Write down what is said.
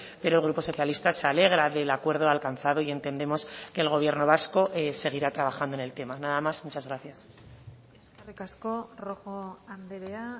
pero el grupo socialista se alegra del acuerdo alcanzado y entendemos que el gobierno vasco seguirá trabajando en el tema nada más muchas gracias eskerrik asko rojo andrea